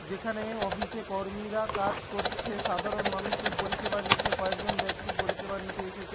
যেখানে অফিসে কর্মীরা কাজ করছে সাধারণ মানুষকে পরিসেবা দিচ্ছে কয়েকজন ব্যক্তি পরিসেবা নিতে এসেছে।